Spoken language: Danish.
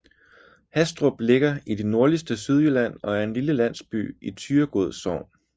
Hastrup ligger i det nordligste Sydjylland og er en lille landsby i Thyregod Sogn